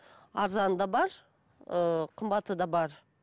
арзаны де бар ыыы қымбаты да бар